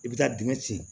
I bɛ taa dingɛ sen